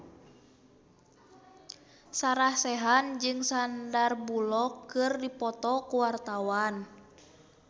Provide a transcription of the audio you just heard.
Sarah Sechan jeung Sandar Bullock keur dipoto ku wartawan